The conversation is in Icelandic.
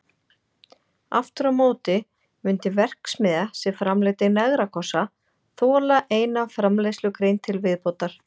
Aftur á móti mundi verksmiðja sem framleiddi negrakossa þola eina framleiðslugrein til viðbótar.